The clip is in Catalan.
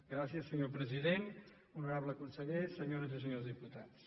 gràcies senyor president honorable conseller senyores i senyors diputats